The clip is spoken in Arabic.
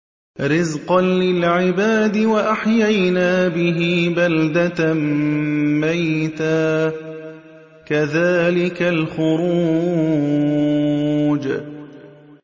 رِّزْقًا لِّلْعِبَادِ ۖ وَأَحْيَيْنَا بِهِ بَلْدَةً مَّيْتًا ۚ كَذَٰلِكَ الْخُرُوجُ